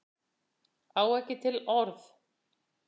Á ekki til orð.